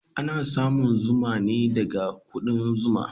Ana samun zuma ne daga kudan zuma.